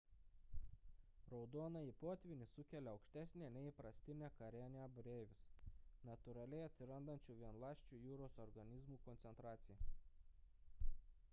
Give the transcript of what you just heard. raudonąjį potvynį sukelia aukštesnė nei įprastinė karenia brevis natūraliai atsirandančių vienaląsčių jūros organizmų koncentracija